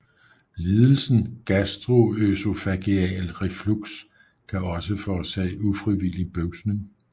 Lidelsen gastroøsofageal reflux kan også forårsage ufrivillig bøvsning